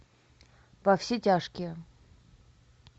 во все тяжкие